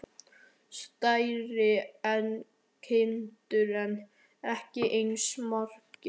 Stærri en kindur en ekki eins margir.